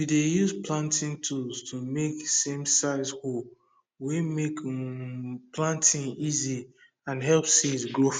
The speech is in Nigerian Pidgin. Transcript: we dey use planting tool to make samesize hole wey make um planting easy and help seed grow fast